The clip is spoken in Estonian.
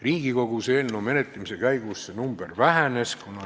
Riigikogus eelnõu menetlemise käigus see protsent vähenes.